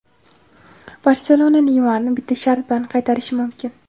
"Barselona" Neymarni bitta shart bilan qaytarishi mumkin.